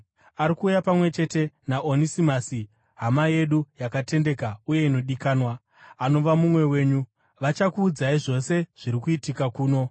Ari kuuya pamwe chete naOnesimasi, hama yedu yakatendeka uye inodikanwa, anova mumwe wenyu. Vachakuudzai zvose zviri kuitika kuno.